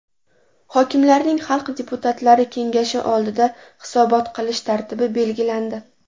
Hokimlarning xalq deputatlari kengashi oldida hisobot qilish tartibi belgilandi.